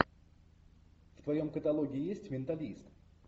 в твоем каталоге есть менталист